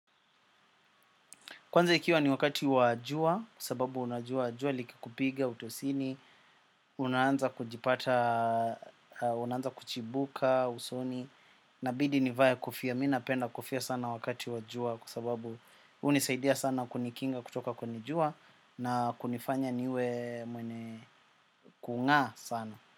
Kwanza ikiwa ni wakati wa jua, sababu unajua jua likikupiga, utosini, unaanza kujipata, unanza kuchibuka, usoni, nabidi nivae kofia. Minapenda kufia sana wakati wa jua, kwa sababu unisaidia sana kunikinga kutoka kwenye jua na kunifanya niwe mwene kung'aa sana.